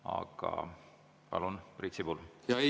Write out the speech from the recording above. Aga palun, Priit Sibul!